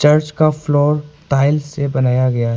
Church का floor tile से बनाया गया है।